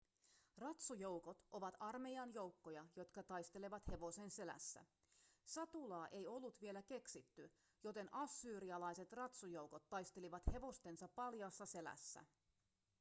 ratsujoukot ovat armeijan joukkoja jotka taistelevat hevosen selässä satulaa ei ollut vielä keksitty joten assyrialaiset ratsujoukot taistelivat hevostensa paljaassa selässä